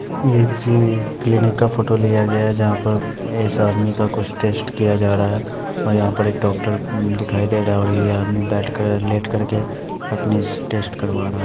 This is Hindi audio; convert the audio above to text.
ये किसी क्लिनिक का फोटो लिया गया है जहां पर ऐसा शख्स आदमी का कुछ टेस्ट किया जा रहा है और यहा पर एक डॉक्टर दिखाई दे रहा है और ये आदमी बैठ कर लेट कर के अपनी टेस्ट करवा रहा है।